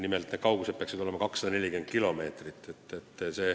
Nimelt peaks see kaugus olema 240 kilomeetrit.